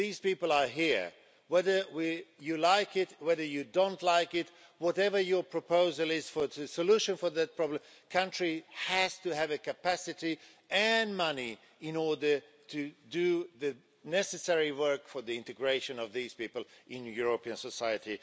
These people are here whether you like it or not, whatever your proposal is for the solution for this problem, the country has to have the capacity and money in order to do the necessary work for the integration of these people into European society.